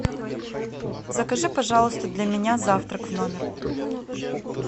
закажи пожалуйста для меня завтрак в номер